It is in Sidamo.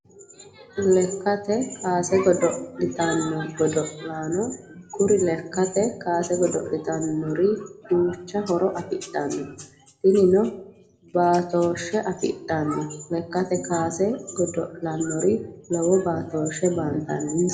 Lekkatr kaase godo'litanno godo'laano, kuri lekatr kaase godo'litanori duucha horo afidhano, tinino baattoshe afidhanno lekkate kaase godo'lannorra lowo baatoshe baantaninsa